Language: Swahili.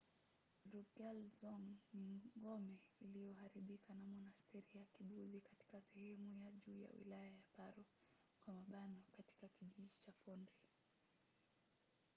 drukgyal dzong ni ngome iliyoharibika na monasteri ya kibudhi katika sehemu ya juu ya wilaya ya paro katika kijiji cha phondrey